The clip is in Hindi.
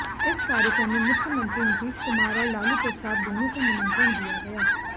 इस कार्यक्रम में मुख्यमंत्री नीतीश कुमार और लालू प्रसाद दोनों को निमंत्रण दिया गया